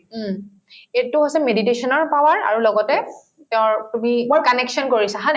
উম, এইটো হৈছে meditation ৰ power আৰু লগতে তেওঁৰ connection কৰিছা হয়নে